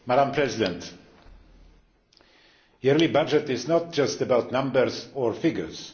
Madam President, the yearly budget is not just about numbers or figures.